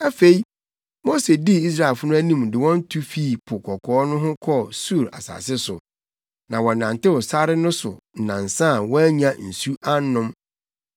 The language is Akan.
Afei, Mose dii Israelfo no anim ne wɔn tu fii Po Kɔkɔɔ no ho kɔɔ Sur sare so. Na wɔnantew sare no so nnansa a wɔannya nsu annom.